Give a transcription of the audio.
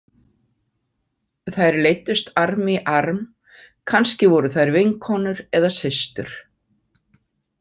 Þær leiddust arm í arm, kannski voru þær vinkonur eða systur.